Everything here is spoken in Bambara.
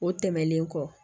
O tɛmɛnen kɔ